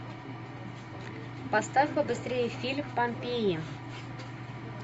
поставь побыстрее фильм помпеи